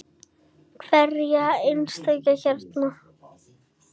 Hverja einustu hræðu!